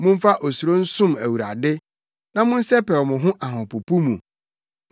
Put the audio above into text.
Momfa osuro nsom Awurade na monsɛpɛw mo ho ahopopo mu.